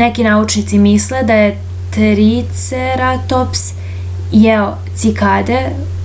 neki naučnici misle da je triceratops jeo cikade